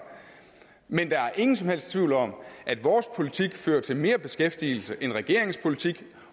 men der er ingen som helst tvivl om at vores politik fører til mere beskæftigelse end regeringens politik